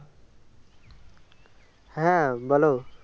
হ্যাঁ বলো